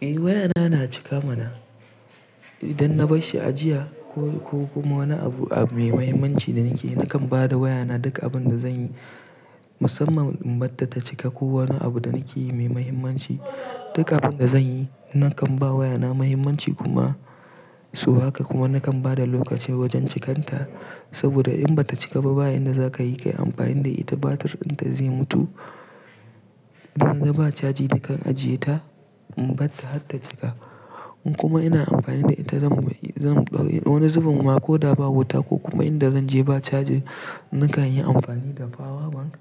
Eh wayana na cika mana. Idan na bar shi ajiya ko, ko kuma wani abu mai mahimmanci da nake, nakan ba da wayana duk abin da zanyi musamman in batta ta cika ko wani abu da nake yi mai mahimmanci. Duka abin da zanyi nakan ba wayana mahimmanci kuma su haka kuma nakan bada lokaci wajen cikanta saboda in bata cika ba, ba inda za ka yi kai amfani da ita battirinta zai mutu. Idan naga ba caji nakan ajiye ta in bar ta hatta cika. In kuma ina amfani da ita zan, zan ɗau, ɗau wani zubin ma ko da ba wuta ko kuma inda zanje ba caji, nakan yi amfani da power bank